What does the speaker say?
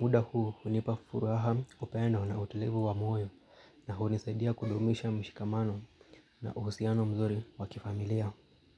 Muda huu hunipa furaha upendo na utulivu wa moyo na hunisaidia kudumisha mshikamano na uhusiano mzuri wa kifamilia.